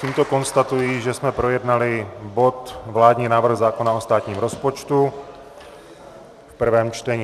Tímto konstatuji, že jsme projednali bod vládní návrh zákona o státním rozpočtu v prvém čtení.